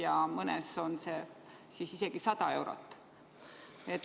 Ma mõtlen siin keskmist või sügavat puuet.